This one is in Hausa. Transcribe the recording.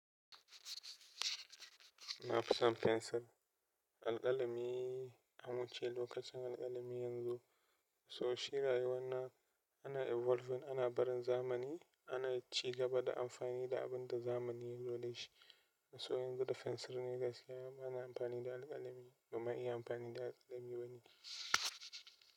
Na fi son fensir. Alƙalami ya muce lokacin alƙalami yanzu. Saboda shi rayuwar nan ana evolving, ana barin zamani, ana ci gaba da amfani da abin da zamani yanzu dai shi. Saboda yanzu da fensir ne gaskiya, ana amfani da alƙalami ba ma iya amfani da alƙalami bane.